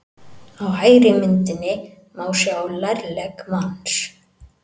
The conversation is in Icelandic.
Á hægri myndinni má sjá lærlegg manns.